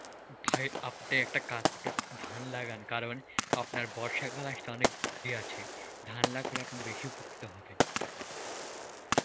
ভাই আপনে একটা কাজ করেন, ধান লাগান, কারণ আপনার বর্ষাকাল আসতে অনেক দেরি আছে ধান লাগলে আপনি বেশি উপকৃত হবেন.